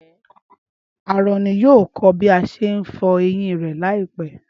Áárónì yóò kọ́ bí a ṣe ń fọ eyín rẹ̀ láìpẹ́.